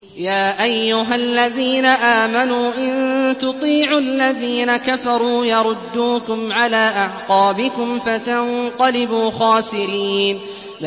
يَا أَيُّهَا الَّذِينَ آمَنُوا إِن تُطِيعُوا الَّذِينَ كَفَرُوا يَرُدُّوكُمْ عَلَىٰ أَعْقَابِكُمْ فَتَنقَلِبُوا خَاسِرِينَ